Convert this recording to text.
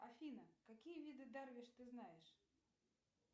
афина какие виды дарвиш ты знаешь